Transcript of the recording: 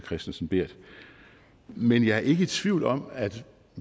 kristensen berth men jeg er ikke i tvivl om at